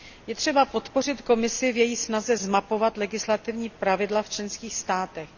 Je třeba podpořit Komisi v její snaze zmapovat legislativní pravidla v členských státech.